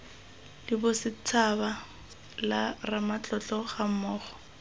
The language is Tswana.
la bosetshaba la ramatlotlo gammogo